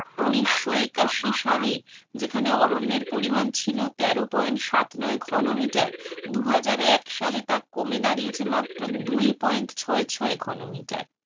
উনিশস একাশি সালের যেখানে অরণ্যের পরিমান ছিল তেরো point সাত ঘনমিটার দু হাজার এক সালে তা কমে দাড়িয়েছে মাত্র দুই point ছয় ছয় ঘনমিটার.